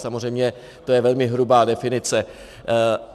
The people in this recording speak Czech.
Samozřejmě to je velmi hrubá definice.